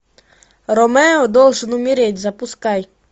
ромео должен умереть запускай